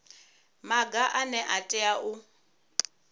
maga ane a tea u